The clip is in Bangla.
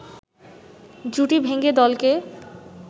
জুটি ভেঙ্গে দলকে